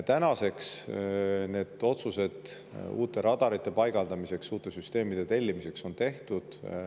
Tänaseks on otsused uute radarite paigaldamiseks ja uute süsteemide tellimiseks tehtud.